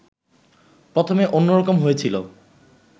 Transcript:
প্রথমে অন্য রকম হয়েছিল